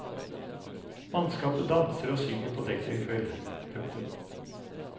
Mannskapet danser og synger på dekk en kveld. punktum